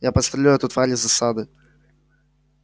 я подстрелю эту тварь из засады